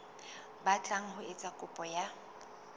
batlang ho etsa kopo ya